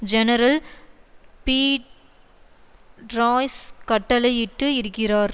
general Pete Royce கட்டளை இட்டு இருக்கிறார்